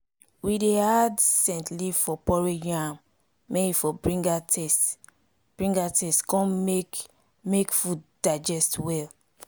we dey add scent leaf for porridge yam may e for bring out taste bring out taste con make make food digest well